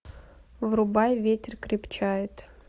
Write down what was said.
врубай ветер крепчает